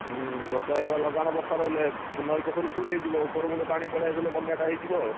ହୁଁ, ବର୍ଷା ଏଇ ଭଳିଆ ଲଗାଣ ବର୍ଷା ରହିଲେ ନଇ ପୋଖରୀ ଫୁଲ ହେଇଯିବ ଓପର ମୁଁଣ୍ଡ ପାଣି ପଳେଇଆସିଲେ ବନ୍ୟା ଟା ହେଇଯିବ ଆଉ।